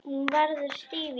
Hún verður stíf í framan.